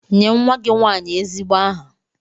Nye nwa gị nwanyị ezigbo aha!